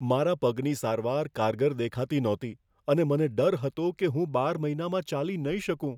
મારા પગની સારવાર કારગર દેખાતી નહોતી, અને મને ડર હતો કે હું બાર મહિનામાં ચાલી નહીં શકું.